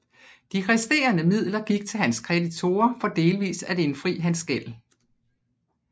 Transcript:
De resterende midler gik til hans kreditorer for delvis at indfri hans gæld